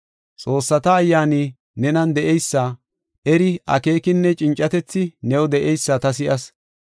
Xoossata ayyaani nenan de7eysa, eri, akeekinne cincatethi new de7eysa ta si7as.